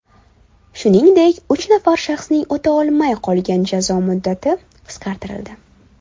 Shuningdek, uch nafar shaxsning o‘talmay qolgan jazo muddati qisqartirildi.